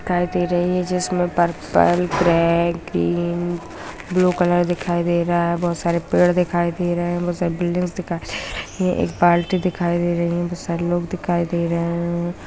दिखाई दे रही है जिसमें purple black green blue colour दिखाई दे रहा है बहुत सारे पेड़ दिखाई दे रहे हैं बहुत सारे बिल्डिंग्स दिखाई दे रही है ये एक बाल्टी दिखाई दे रही है बहुत सारे लोग दिखाई दे रहे हैं।